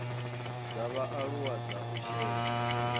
dza vhaaluwa dza u shela